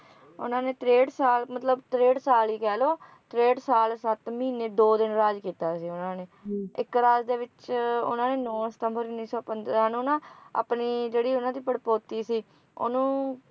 ਉਨ੍ਹਾਂ ਨੇ ਤ੍ਰੇਹਠ ਸਾਲ ਮਤਲਬ ਤ੍ਰੇਹਠ ਸਾਲ ਹੀ ਕਹਿ ਲੋ ਤ੍ਰੇਹੱਠ ਸਾਲ ਸੱਤ ਮਹੀਨੇ ਦੋ ਦਿਨ ਰਾਜ ਕੀਤਾ ਸੀ ਉਨ੍ਹਾਂ ਨੇ ਇੱਕ ਰਾਜ ਦੇ ਵਿਚ ਉਨ੍ਹਾਂ ਨੇ ਨੌਂ ਸਿਤੰਬਰ ਉੱਨੀ ਸੌ ਪੰਦਰਾਂ ਨੂੰ ਨਾ ਆਪਣੀ ਜਿਹੜੀ ਉਨ੍ਹਾਂ ਦੀ ਪੜਪੌਤੀ ਸੀ ਉਹਨੂੰ